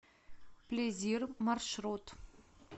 плезир маршрут